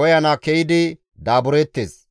koyana ke7idi daabureettes.